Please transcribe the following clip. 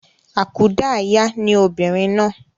Àkúdayà ni obìnrin náà